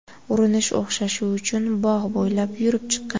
Urinish o‘xshashi uchun bog‘ bo‘ylab yurib chiqqan.